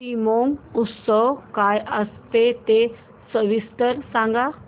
शिमगोत्सव काय असतो ते सविस्तर सांग